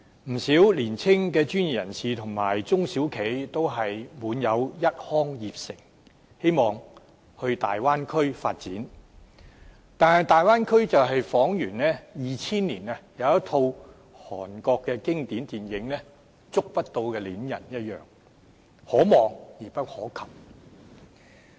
不少年青的專業人士和中小企都滿有一腔熱誠，希望到大灣區發展，但大灣區彷如2000年的一套經典韓國電影"觸不到的戀人"一樣，可望而不可及。